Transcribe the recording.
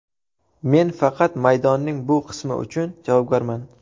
Men faqat maydonning bu qismi uchun javobgarman.